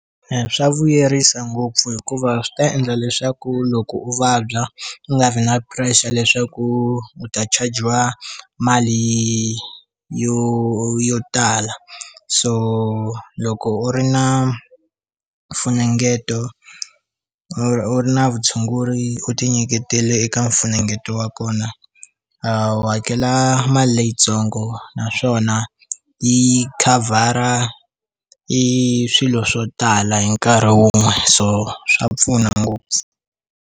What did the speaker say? Eya swa vuyerisa ngopfu hikuva swi ta endla leswaku loko u vabya u nga vi na pressure leswaku u ta chajiwa mali yo yo tala so loko u ri na mfunengeto u ri na vutshunguri u ti nyiketele eka mfunengeto wa kona a wu hakela mali leyitsongo naswona yi khavhara i swilo swo tala hi nkarhi wun'we so swa pfuna ngopfu.